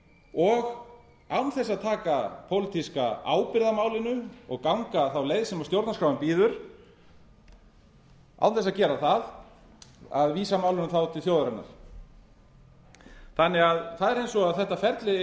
og án þess að taka pólitíska ábyrgð á málinu og ganga þá leið sem stjórnarskráin býður án þess að gera það að vísa málinu þá til þjóðarinnar það er eins og þetta ferli eigi